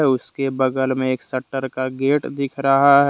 उसके बगल में एक शटर का गेट दिख रहा--